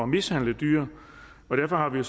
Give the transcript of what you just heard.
mishandle dyr og derfor har vi